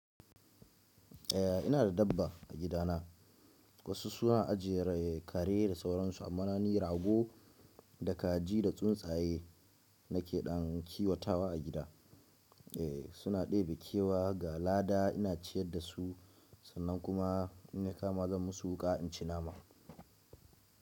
Eh, ina da dabba a gidana. Wasu suna ajiyere kare da sauransu amma na ni rago da kaji da tsuntsaye nake ɗan kiwatawa a gida. Eh suna ɗebe kewa, ga lada ina ciyar da su sannan kuma in na kama zan musu wuƙa in ci nama.